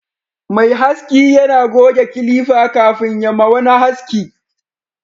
mai haski yana goge kilifa kafin ya ma wani haski